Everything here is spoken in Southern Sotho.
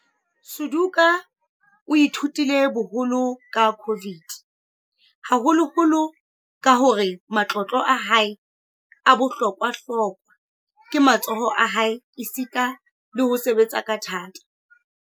Suduka o ithutile boholo ka COVID-19, haholoholo ka hore matlotlo a hae a bohlokwa-hlokwa ke matsoho a hae esita le ho sebetsa ka thata.